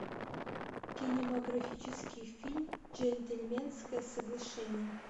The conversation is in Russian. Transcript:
кинематографический фильм джентльменское соглашение